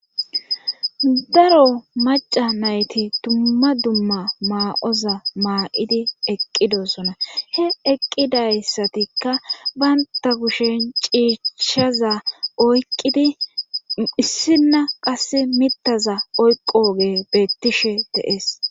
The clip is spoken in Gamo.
daro maca nayti tumma dumma maa7oza maaidi eqqidosona he eqqidayssatikka baynta kushen ciicchshaza oyqqidi issinna qas mittaza oykogey beettishe de'ees